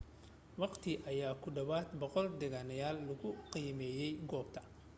wakhti ayaa ku dhawaad 100 deganeyaal lagu qiimeeyay goobta